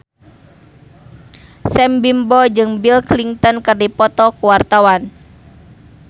Sam Bimbo jeung Bill Clinton keur dipoto ku wartawan